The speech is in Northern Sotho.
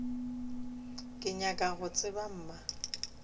ke nyaka go tseba mma